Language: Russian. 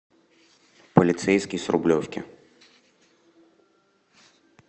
полицейский с рублевки